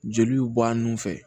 Jeliw bɔ a nun fɛ